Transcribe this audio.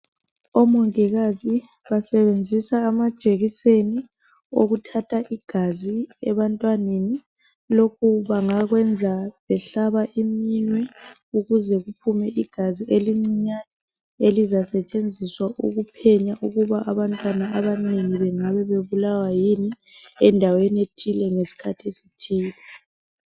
Omongikazi basebenzisa amajekiseni okuthatha igazi ebantwaneni. Lokhu bangakwenza behlaba iminwe ukuze kuphume igazi elincinyane. Elizasetshenziswa ukuphenya ukuthi abantwana abanengi bangabe bebulawa yini endaweni ethile, ngesikhathi esithile.